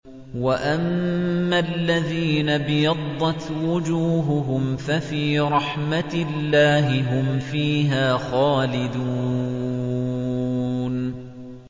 وَأَمَّا الَّذِينَ ابْيَضَّتْ وُجُوهُهُمْ فَفِي رَحْمَةِ اللَّهِ هُمْ فِيهَا خَالِدُونَ